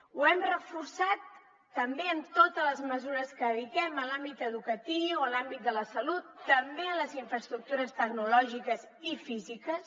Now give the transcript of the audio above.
ho hem reforçat també amb totes les mesures que dediquem en l’àmbit educatiu en l’àmbit de la salut també en les infraestructures tecnològiques i físiques